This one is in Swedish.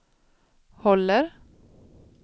håller